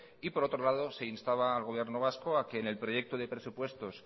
y por otro lado se instaba al gobierno vasco a que en el proyecto de presupuestos